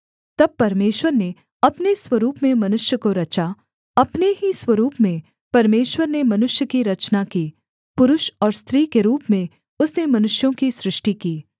तब परमेश्वर ने अपने स्वरूप में मनुष्य को रचा अपने ही स्वरूप में परमेश्वर ने मनुष्य की रचना की नर और नारी के रूप में उसने मनुष्यों की सृष्टि की